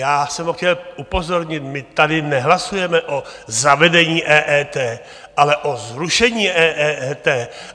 Já jsem ho chtěl upozornit, my tady nehlasujeme o zavedení EET, ale o zrušení EET!